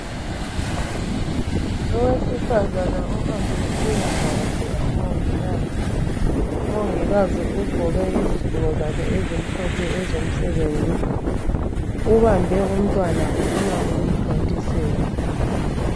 Owesifazana ohambe ukuyavakatshela umongikazi. Umongikazi ugqoke izigqoko zakhe ezimhlophe ezomsebenzi ubambe umntwana ufuna ukumthontisela.